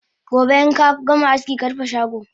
Gobe inkagama aski karufe shago!